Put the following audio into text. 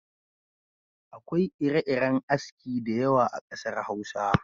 Akwai ire-iren aski da yawa a kasar Hausa.